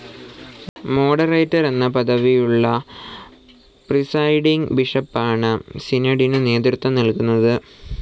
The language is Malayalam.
മോഡറേറ്റർ എന്ന പദവിയുള്ള പ്രസൈഡിംഗ്‌ ബിഷപ്പാണ് സിനഡിനു നേതൃത്വം നൽകുന്നത്.